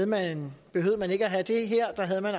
man